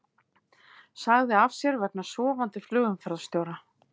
Sagði af sér vegna sofandi flugumferðarstjóra